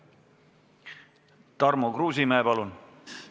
Tarmo Kruusimäe, palun!